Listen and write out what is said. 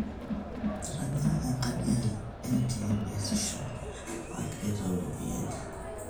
etanya e nkadi aain e atm eesisho agira aitayu ropiyani